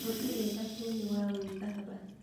Gũtirĩ thabuni wa gwĩthamba